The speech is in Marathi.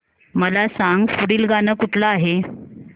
मला सांग पुढील गाणं कुठलं आहे